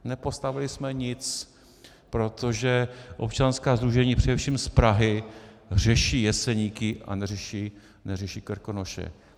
Nepostavili jsme nic, protože občanská sdružení, především z Prahy, řeší Jeseníky, a neřeší Krkonoše.